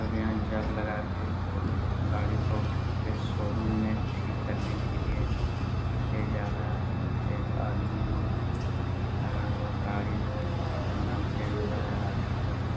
और यहाँ जग लगा के गाड़ी को उठा के शोरूम में ठीक करने के लिए ले जा रहा है एक आदमी वहां लगा हुआ गाड़ी बहुत खतरनाक एक्सीडेंट हुआ है आगे का शो --